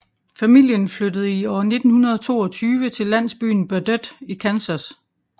Familien flyttede i år 1922 til landsbyen Burdett i Kansas